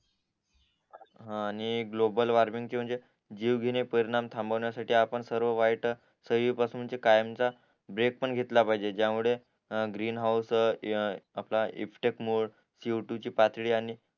हा आणि global warming ची म्हणजे जीवघेणे परिणाम थांबवण्या साठी आपण सगळे वाईट सगळी पासून ते कायमचा ब्रेक पण घेतला पाहिजे ज्या मुळे ग्रीन हाऊस आपला इफ्तेक मोड सीओटू ची पातळी आणि